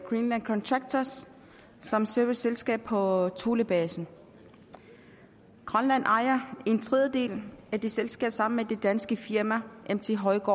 greenland contractors som serviceselskab på thulebasen grønland ejer en tredjedel af det selskab sammen med det danske firma mt højgaard